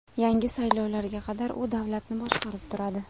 Yangi saylovlarga qadar u davlatni boshqarib turadi.